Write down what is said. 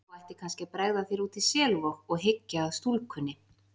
Þú ættir kannski að bregða þér út í Selvog og hyggja að stúlkunni.